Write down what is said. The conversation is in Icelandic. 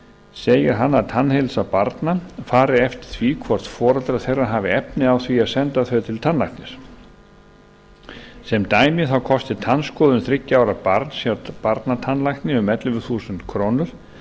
segir hann að tannheilsa barna fari eftir því hvort foreldrar þeirra hafi efni á því að senda þau til tannlæknis sem dæmi þá kosti tannskoðun þriggja ára barns hjá barnatannlækni um ellefu þúsund krónur